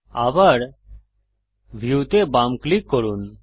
আবার ভিউ তে বাম ক্লিক করুন